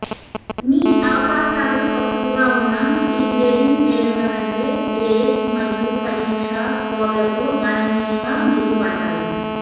మీ అవకాశాలు తక్కువగా ఉన్న ఈ గ్రేడింగ్ శ్రేణుల కంటే గ్రేడ్స్ మరియు పరీక్ష స్కోర్లతో గణనీయంగా మెరుగుపడ్డాయి